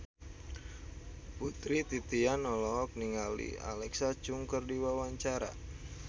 Putri Titian olohok ningali Alexa Chung keur diwawancara